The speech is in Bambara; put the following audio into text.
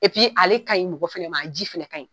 ale ka ɲi mɔgɔ fana ma, a ji fana ka ɲin.